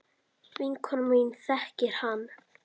Vinkona mín þekkir hann.